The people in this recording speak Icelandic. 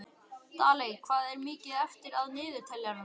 Daley, hvað er mikið eftir af niðurteljaranum?